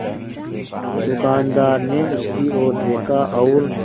दुकानदार ने उसकी ओर देखा और